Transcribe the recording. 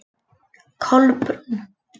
Kolbrún